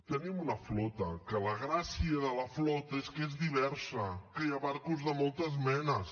tenim una flota que la gràcia de la flota és que és diversa que hi ha barcos de moltes menes